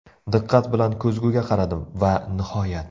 Diqqat bilan ko‘zguga qaradim va nihoyat!